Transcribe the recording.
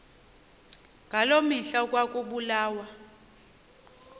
ngaloo mihla ekwakubulawa